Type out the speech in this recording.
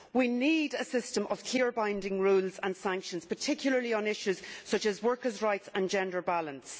We need a system of clear binding rules and sanctions, particularly on issues such as workers' rights and gender balance.